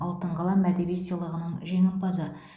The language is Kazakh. алтын қалам әдеби сыйлығының жеңімпазы